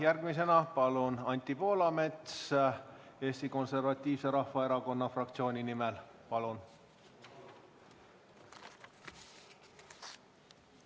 Järgmisena saab sõna Anti Poolamets Eesti Konservatiivse Rahvaerakonna fraktsiooni nimel, palun!